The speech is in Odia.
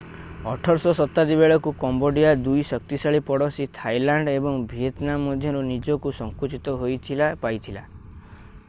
18ଶହ ଶତାବ୍ଦୀ ବେଳକୁ କାମ୍ବୋଡିଆ 2 ଶକ୍ତିଶାଳୀ ପଡୋଶୀ ଥାଇଲାଣ୍ଡ ଏବଂ ଭିଏତନାମ ମଧ୍ୟରେ ନିଜକୁ ସଙ୍କୁଚିତ ହୋଇଥିବା ପାଇଥିଲା